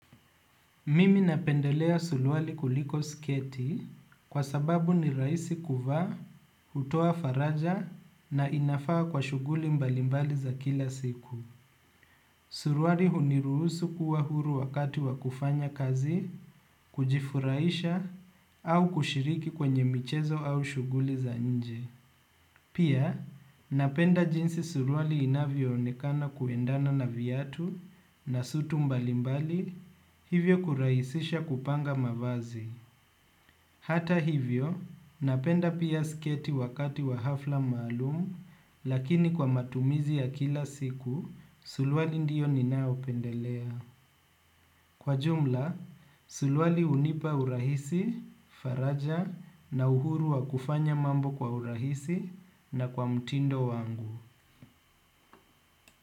Mimi napendelea suruali kuliko sketi kwa sababu ni rahisi kuvaa, hutoa faraja na inafaa kwa shughuli mbalimbali za kila siku. Suruali huniruhusu kuwa huru wakati wa kufanya kazi, kujifuraisha au kushiriki kwenye michezo au shughuli za nje. Pia, napenda jinsi suruali inavyoonekana kuendana na viatu na suti mbalimbali, hivyo kurahisisha kupanga mavazi. Hata hivyo, napenda pia sketi wakati wa hafla maalumu, lakini kwa matumizi ya kila siku, sulwali ndiyo ninayopendelea. Kwa jumla, suruali unipa urahisi, faraja na uhuru wa kufanya mambo kwa urahisi na kwa mtindo wangu.